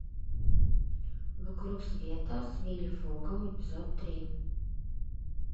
вокруг света с вилли фогом эпизод три